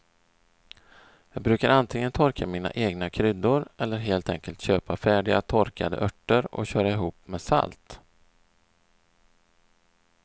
Jag brukar antingen torka mina egna kryddor eller helt enkelt köpa färdiga torkade örter och köra ihop med salt.